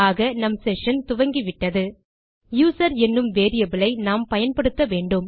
ஆக நம் செஷன் துவங்கிவிட்டது யூசர் என்னும் வேரியபிள் ஐ நாம் பயன்படுத்த வேண்டும்